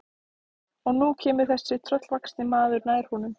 Og nú kemur þessi tröllvaxni maður nær honum.